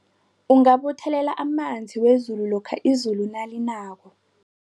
Ungabuthelela amanzi wezulu lokha izulu nalinako.